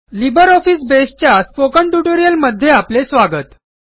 LibreOffice Base च्या spoken ट्युटोरियलमध्ये आपले स्वागत